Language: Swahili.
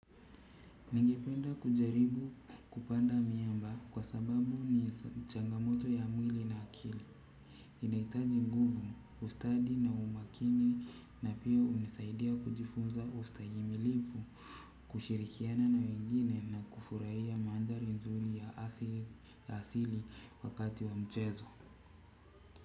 Ningependa kujaribu kupanda miamba kwa sababu ni changamoto ya mwili na akili. Inaitaji nguvu ustadi na umakini na pia unisaidia kujifunza ustahimilivu. Kushirikiana na wengine na kufurahia maandhari nzuri ya asili wakati wa mchezo.